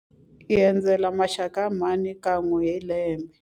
Hi endzela maxaka ya mhani kan'we hi lembe.